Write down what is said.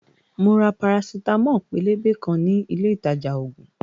Mo ra parasitamo pélébé kan ní ilé ìtajà ògùn